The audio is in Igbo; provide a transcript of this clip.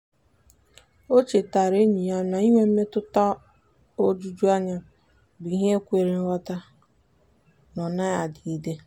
o chetaara enyi ya na inwe mmetụta ojuju anya bụ ihe kwere nghọta na ọ naghị adịgide.